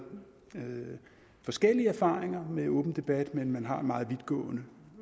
har man forskellige erfaringer med åben debat men man har en meget vidtgående